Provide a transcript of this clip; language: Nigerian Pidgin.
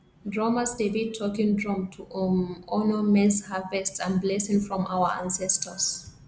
drummers dey beat talking drum to um honour maize harvest and blessing from our ancestors